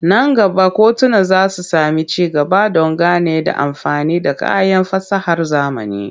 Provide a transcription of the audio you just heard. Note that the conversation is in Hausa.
Nan gaba kotuna za su sami ci gaba don gane da amfani da kayan fasahar zamani.